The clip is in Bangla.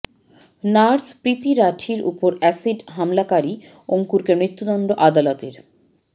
নার্স প্রীতি রাঠির ওপর অ্যাসিড হামলাকারী অঙ্কুরকে মৃতুদণ্ড আদালতের